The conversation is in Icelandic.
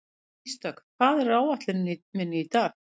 Ísdögg, hvað er á áætluninni minni í dag?